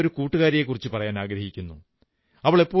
ഞാൻ എന്റെ ഒരു കൂട്ടുകാരിയെക്കുറിച്ചു പറയാനാഗ്രഹിക്കുന്നു